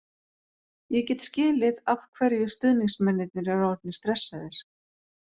Ég get skilið af hverju stuðningsmennirnir eru orðnir stressaðir.